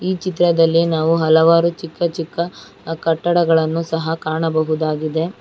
ಚಿತ್ರದಲ್ಲಿ ನಾವು ಹಲವಾರು ಚಿಕ್ಕ ಚಿಕ್ಕ ಕಟ್ಟಡಗಳನ್ನು ಸಹ ಕಾಣಬಹುದಾಗಿದೆ.